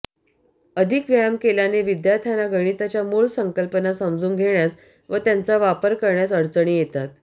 अधिक व्यायाम केल्याने विद्यार्थ्यांना गणिताच्या मूळ संकल्पना समजून घेण्यास व त्यांचा वापर करण्यास अडचणी येतात